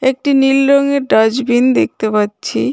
একটি নীল রঙের ডাস্টবিন দেখতে পাচ্ছি।